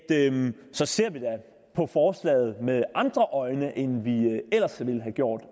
så ser vi da på forslaget med andre øjne end vi ellers ville have gjort